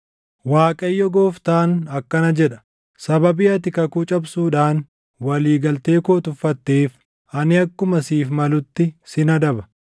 “‘ Waaqayyo Gooftaan akkana jedha: Sababii ati kakuu cabsuudhaan walii galtee koo tuffatteef, ani akkuma siif malutti sin adaba.